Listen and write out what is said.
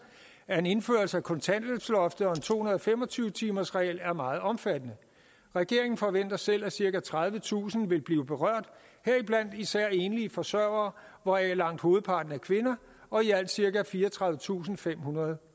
af en indførelse af kontanthjælpsloftet og en to hundrede og fem og tyve timersregel er meget omfattende regeringen forventer selv at cirka tredivetusind vil blive berørt heriblandt især enlige forsørgere hvoraf langt hovedparten er kvinder og i alt cirka fireogtredivetusinde og femhundrede